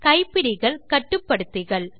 கைப்பிடிகள் கட்டுப்படுத்திகள்